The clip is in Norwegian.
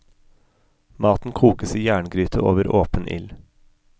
Maten kokes i jerngryte over åpen ild.